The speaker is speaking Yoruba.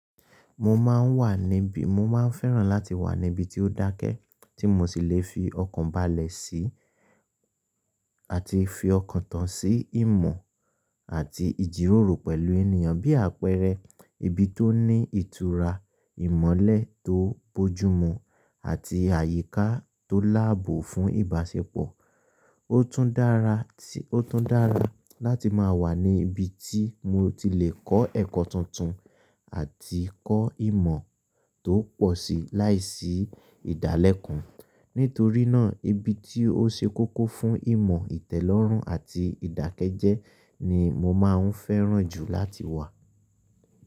Mo máa ń wà níbi, mo máa ń fẹ́ràn láti wà níbi tí ó dákẹ́ tí mo ti lè fi ọkàn bálẹ̀ sí àti fi ọkàn tan sí ìmọ̀ àti ìjíròrò pẹ̀lú ènìyàn. Bí àpẹẹrẹ, ibi tó ní ìtura ìmọ́lẹ̀ tó bójúmú àti àyíká tó láàbò fún ìbáṣepọ̀. Ó tún dára, ó tún dára láti máa wà ní ibi tí mo ti lè kọ́ ẹ̀kọ́ tuntun àti kọ́ ìmọ̀ tó pọ̀ síi láìsí ìdálẹ̀kùn. Nítorí náà, ibi tí ó ṣe kókó fún ìmọ̀ ìtẹ́lọ́rùn àti ìdákẹ́jẹ́ ni mo máa ń fẹ́ràn jù láti wà.